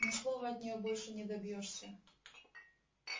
ни слова от неё больше не добьёшься